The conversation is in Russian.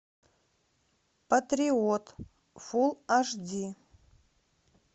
патриот фулл аш ди